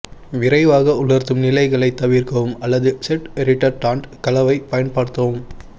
விரைவாக உலர்த்தும் நிலைகளைத் தவிர்க்கவும் அல்லது செட் ரிடர்டான்ட் கலவை பயன்படுத்தவும்